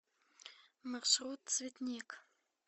маршрут цветник